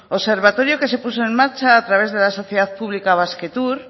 observatorio que se puso en marcha a través de la sociedad pública basquetour